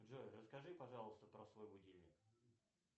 джой расскажи пожалуйста про свой будильник